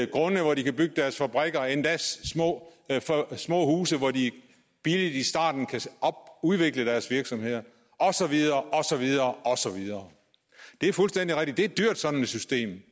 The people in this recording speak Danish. grunde hvor de kan bygge deres fabrikker og endda små små huse hvor de billigt i starten kan udvikle deres virksomheder og så videre og så videre det er fuldstændig rigtigt at sådan et system